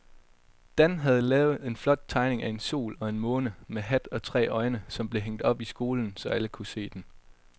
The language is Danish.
Dan havde lavet en flot tegning af en sol og en måne med hat og tre øjne, som blev hængt op i skolen, så alle kunne se den.